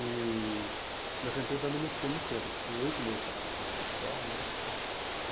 E nessa empresa também não fiquei muito tempo, acho que fiquei oito meses trabalhando nessa empresa só, né?